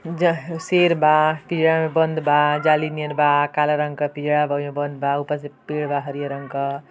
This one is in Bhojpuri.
जहां शेर बा पिंजरा में बंद बा जाली नियन बा काला रंग क पिंजरा बा ओहि में बंद बा ऊपर से पेड़ बा हरियर रंग क।